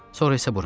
Sonra isə bura.